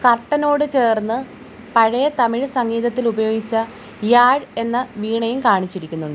കർട്ടനോട്‌ ചേർന്ന് പഴയ തമിഴ് സംഗീതത്തിൽ ഉപയോഗിച്ച യാഴ് എന്ന വീണയും കാണിച്ചിട്ടുണ്ട്.